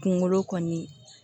Kunkolo kɔni